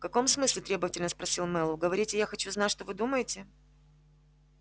в каком смысле требовательно спросил мэллоу говорите я хочу знать что вы думаете